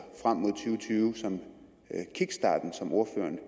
tyve som kickstarten som ordføreren